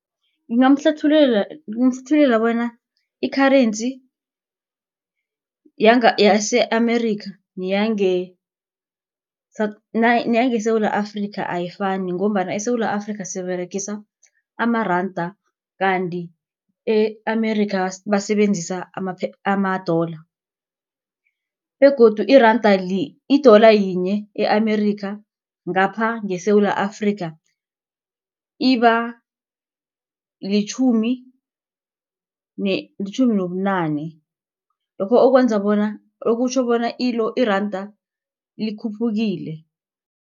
Ngingamhlathululela bona i-currency yase-Amerika neyangeSewula afrika ayifani ngombana eSewula Afrika siberegisa amaranda. Kanti e-Amerika basebenzisa ama-dollar begodu iranda i-dollar yinye e-Amerika ngapha ngeSewula Afrika iba litjhumi litjhumi nobunane lokho okwenza bona okutjho bona iranda likhuphukile.